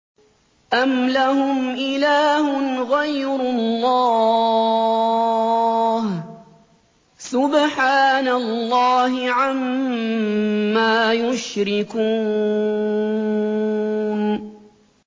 أَمْ لَهُمْ إِلَٰهٌ غَيْرُ اللَّهِ ۚ سُبْحَانَ اللَّهِ عَمَّا يُشْرِكُونَ